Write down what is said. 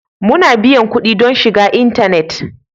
Muna biyan kuɗi don shiga intanet.